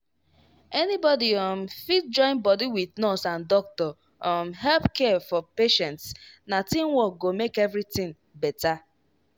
anybody um fit join body wit nurse and doctor um help care for patients na teamwork go make everything better.